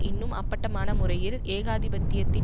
இன்னும் அப்பட்டமான முறையில் ஏகாதிபத்தியத்தின்